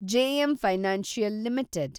JM financial limited